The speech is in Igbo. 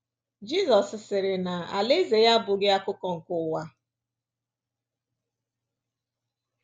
Jizọs sịrị na alaeze ya abụghị akụkụ nke ụwa a.